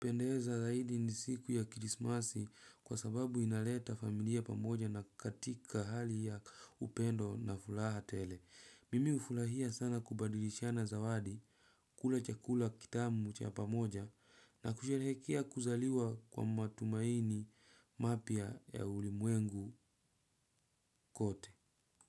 Upendeza zaidi ni siku ya kirismasi kwa sababu inaleta familia pamoja na katika hali ya upendo na furaha tele. Mimi ufurahia sana kubadilishana zawadi kula chakula kitamu cha pamoja na kusherekea kuzaliwa kwa matumaini mapya ya ulimwengu kote.